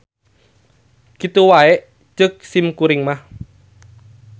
Kitu wae ceuk simkuring mah.